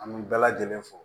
An bɛ bɛɛ lajɛlen fo